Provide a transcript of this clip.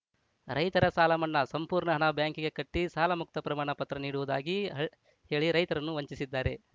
ರೈತರ ಸಾಲಮನ್ನಾ ಸಂಪೂರ್ಣ ಹಣ ಬ್ಯಾಂಕಿಗೆ ಕಟ್ಟಿಸಾಲಮುಕ್ತ ಪ್ರಮಾಣ ಪತ್ರ ನೀಡುವುದಾಗಿ ಹ್ ಹೇಳಿ ರೈತರನ್ನು ವಂಚಿಸಿದ್ದಾರೆ